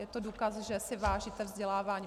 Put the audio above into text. Je to důkaz, že si vážíte vzdělávání.